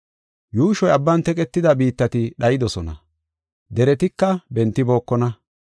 Yuushoy abban teqetida biittati dhaydosona; deretika bentibookona.